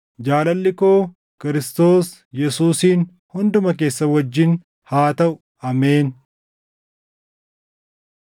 Jaalalli koo Kiristoos Yesuusiin hunduma keessan wajjin haa taʼu. Ameen.